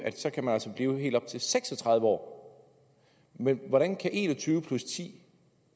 at så kan man blive helt op til seks og tredive år men hvordan kan en og tyve plus ti